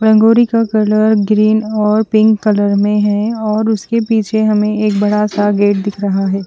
रंगोली की colour green और pink colour में है और उसके पीछे हमे एक बदा सा गेट दिख रहा है।